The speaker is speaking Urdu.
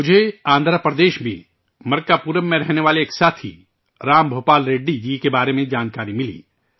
مجھے، آندھراپردیش میں، مرکاپورم میں رہنے والے ایک ساتھی ، رام بھوپال ریڈی جی کے بارے میں جانکاری ملی